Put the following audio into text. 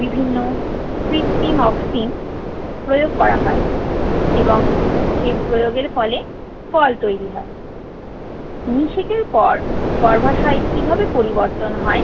বিভিন্ন কৃত্রিম অক্সিন প্রয়োগ করা হয় এবং সেই প্রয়োগের ফলে ফল তৈরি হয়। নিষেকের পর গর্ভাশয় কিভাবে পরিবর্তন হয়